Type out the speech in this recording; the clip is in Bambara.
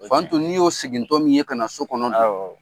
Fanto n'i y'o siegin tɔ min ye ka na so kɔnɔ dun, awɔ.